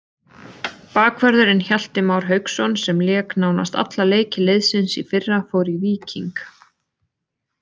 Bakvörðurinn Hjalti Már Hauksson sem lék nánast alla leiki liðsins í fyrra fór í Víking.